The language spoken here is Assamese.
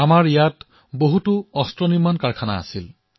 আমাৰ ইয়াত অনেক গোলাবাৰুদৰ কাৰখানা আছিল